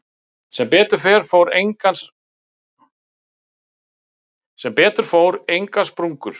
Sem betur fór engar sprungur.